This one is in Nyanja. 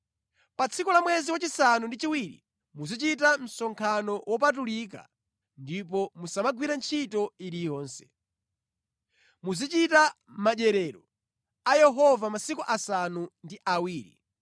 “ ‘Pa tsiku la mwezi wachisanu ndi chiwiri, muzichita msonkhano wopatulika ndipo musamagwire ntchito iliyonse. Muzichita madyerero a Yehova masiku asanu ndi awiri.